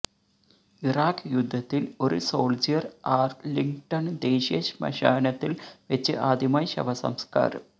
Iraq യുദ്ധത്തിൽ ഒരു soldier Arlington ദേശീയ ശ്മശാനത്തിൽ വെച്ച് ആദ്യമായി ശവസംസ്കാരം